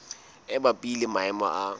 e mabapi le maemo a